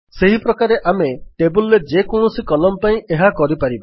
ସେହିପ୍ରକାରେ ଆମେ ଟେବଲ୍ ରେ ଯେକୌଣସି କଲମ୍ନ ପାଇଁ ଏହା କରିପାରିବା